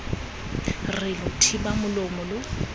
re lo thiba molomo lo